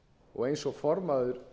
og eins og formaður